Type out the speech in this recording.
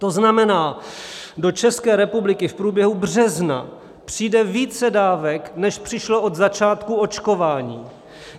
To znamená, do České republiky v průběhu března přijde více dávek, než přišlo od začátku očkování.